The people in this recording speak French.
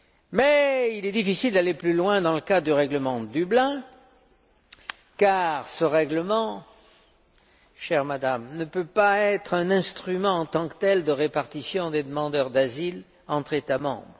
Mais il est difficile d'aller plus loin dans le cadre du règlement de Dublin, car ce règlement, chère Madame, ne peut pas être un instrument en tant que tel de répartition des demandeurs d'asile entre États membres.